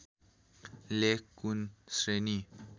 लेख कुन श्रेणी